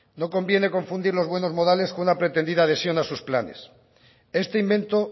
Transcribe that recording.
no conviene confundir los buenos modales con una pretendida adhesión a sus planes este invento